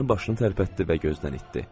Mənə başını tərpətdi və gözdən itdi.